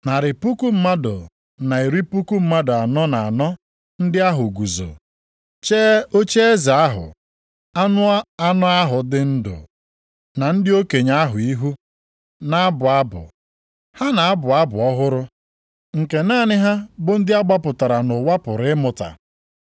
Narị puku mmadụ na iri puku mmadụ anọ na anọ ndị ahụ guzo, chee ocheeze ahụ, anụ anọ ahụ dị ndụ, na ndị okenye ahụ ihu, na-abụ abụ, ha na-abụ abụ ọhụrụ. Nke naanị ha bụ ndị a gbapụtara nʼụwa pụrụ ịmụta.